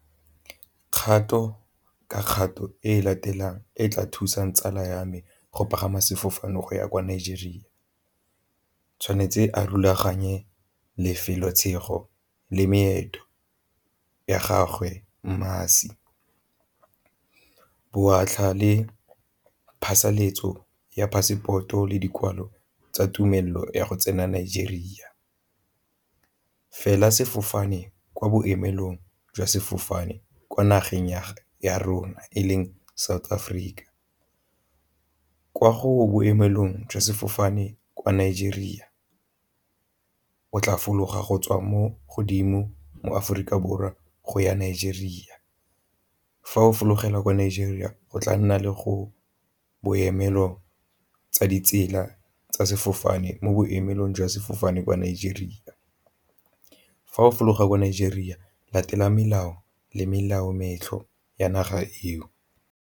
Kgato ka kgato e latelang e tla thusang tsala ya me go pagama sefofane go ya kwa Nigeria, tshwanetse a rulaganye lefelo ya gagwe , botlha le phasalatso ya passport-o le dikwalo tsa tumelelo ya go tsena Nigeria. Fela sefofane kwa boemelong jwa sefofane kwa nageng ya rona e leng South Africa, kwa go boemelong jwa sefofane kwa Nigeria o tla fologa go tswa mo godimo mo Aforika Borwa go ya Nigeria. Fa o fologela kwa Nigeria o tla nna le go boemelo tsa ditsela tsa sefofane mo boemelong jwa sefofane kwa Nigeria. Fa o fologa kwa Nigeria latela melao le melao ya naga eo.